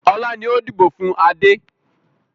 Ọlá ni ó dìbò fun Adé.